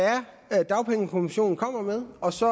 er dagpengekommissionen kommer med og så